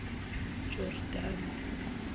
jordani